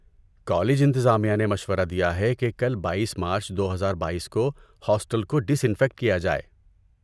college انتظامیہ نے مشورہ دیا ہے کہ کل بائیس مارچ دوہزار بائیس کو ہاسٹل کو ڈس انفیکٹ کیا جائے